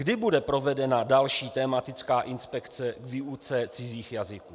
Kdy bude provedena další tematická inspekce k výuce cizích jazyků?